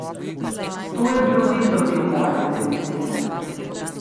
To je bilo vedno del moje identitete.